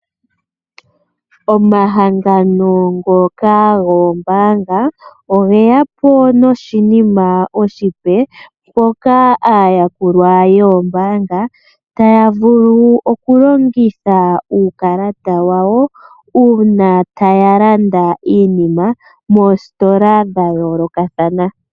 Omahangano ngoka goombaanga oge ya po noshinima oshipe ,mpoka aayakulwa yoombaanga ta ya vulu oku longitha uukalata wa wo uuna taya landa iinima moositola dha yoolokathana.